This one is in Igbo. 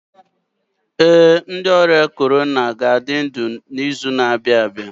Ee, ndị ọrịa corona ga-adị ndụ n'izu na-abịa